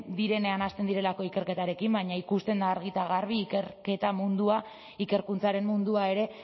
direnean hasten direlako ikerketarekin baina ikusten da argi eta garbi ikerketa mundua ikerkuntzaren mundua ere